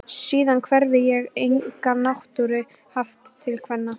Síðan hefi ég enga náttúru haft til kvenna.